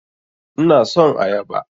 Ina son ayaba